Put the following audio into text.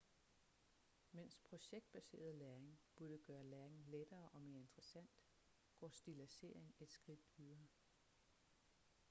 mens projektbaseret læring burde gøre læring lettere og mere interessant går stilladsering et skridt videre